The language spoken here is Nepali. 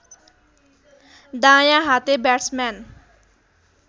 दायाँ हाते ब्याट्सम्यान